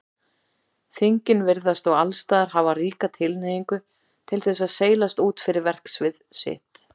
Þingin virðast og allsstaðar hafa ríka tilhneigingu til þess að seilast út fyrir verksvið sitt.